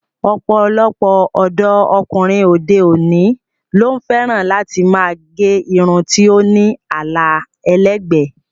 Ọ̀pọ̀lọpọ̀ ọ̀dọ́ ọkùnrin òde-òní ló fẹ́ràn láti máa gẹ irun tó ní àlà ẹlẹ́gbẹ̀ẹ́.